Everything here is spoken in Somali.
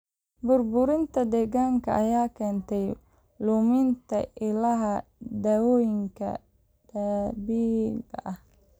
Burburinta deegaanka ayaa keentay luminta ilaha dawooyinka dabiiciga ah.